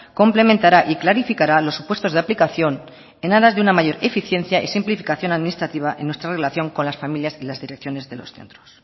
complementará y clarificará los supuestos de aplicación en aras de una mayor eficiencia y simplificación administrativa en nuestra relación con las familias y las direcciones de los centros